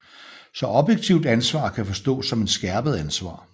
Så objektivt ansvar kan forstås som et skærpet ansvar